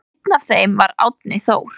Einn af þeim var Árni Þór.